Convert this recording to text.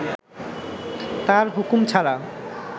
তার হুকুম ছাড়া